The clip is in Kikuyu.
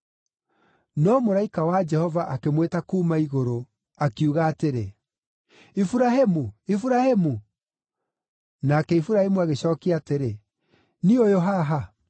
No mũraika wa Jehova akĩmwĩta kuuma igũrũ, akiuga atĩrĩ, “Iburahĩmu! Iburahĩmu!” Nake Iburahĩmu agĩcookia atĩrĩ, “Niĩ ũyũ haha.”